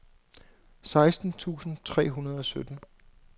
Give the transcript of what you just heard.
seksten tusind tre hundrede og sytten